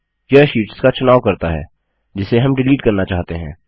यह शीट्स का चुनाव करता है जिसे हम डिलीट करना चाहते हैं